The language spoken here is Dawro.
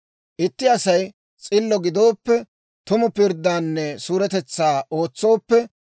«Itti Asay s'illo gidooppe, tumu pirddaanne suuretetsaa ootsooppe,